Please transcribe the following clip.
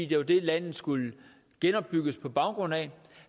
det var dem landet skulle genopbygges på baggrund af